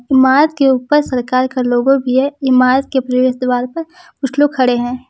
इमारत के ऊपर सरकार का लोगो भी है इमारत के प्रवेश द्वार पर कुछ लोग खड़े है।